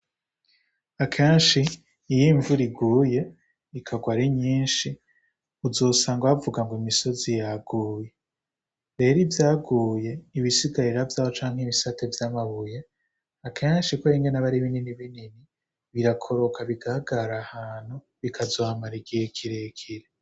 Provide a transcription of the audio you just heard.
Akenshi iyo imvura iguye, ikagwa ari nyinshi uzosanga bavuga ngo imisozi yaguye. Rero ivyaguye, ibisigarira vyaho cane ibisate vy'amabuye, akenshi kubera ingene aba ari binini binini, birakoroka bigahagarara ahantu bikazohamara igihe kirekire.